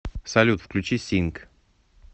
салют включи синг